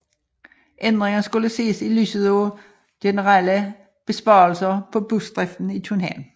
Ændringen skulle ses i lyset af generelle besparelser på busdriften i København